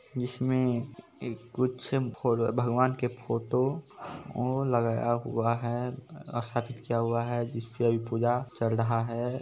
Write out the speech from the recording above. जिसमें एक कुछ फो भगवान के फोटो और लगाया हुआ है स्थापित किया हुआ है जिस पे अभी पूजा चल रहा है।